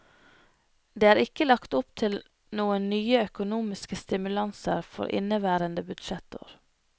Det er ikke lagt opp til noen nye økonomiske stimulanser for inneværende budsjettår.